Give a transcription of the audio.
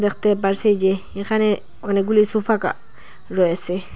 দেখতে পারসি যে এখানে অনেকগুলি সোফাকা রয়েসে।